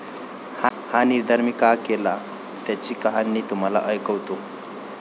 हा निर्धार मी का केला त्याची कहाणी तुम्हाला ऐकवतो.